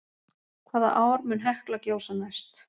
Hvaða ár mun Hekla gjósa næst?